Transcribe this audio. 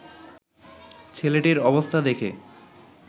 ছেলেটির অবস্থা দেখে